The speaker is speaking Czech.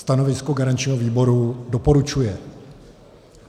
Stanovisko garančního výboru: doporučuje.